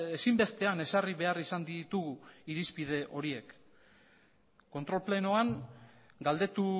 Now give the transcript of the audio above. ezinbestean ezarri behar izan ditugu irizpide horiek kontrol plenoan galdetu